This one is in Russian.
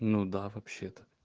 ну да вообще то